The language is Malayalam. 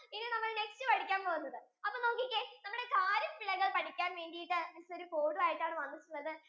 ഇനി നമ്മൾ next പഠിക്കാൻ പോകുന്നത് അപ്പൊ നോക്കിക്കേ നമ്മൾ kharif weather പഠിക്കാൻ വേണ്ടീട് അത്‌അനുസരിച്ചോരു code ഉം ആയിട്ടാണ് വന്നിട്ടുള്ളതു